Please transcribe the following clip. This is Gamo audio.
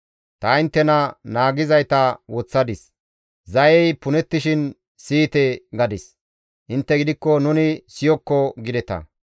Ta inttena naagizayta woththadis; ‹Zayey punettishin siyite› gadis; intte gidikko, ‹Nuni siyokko› gideta.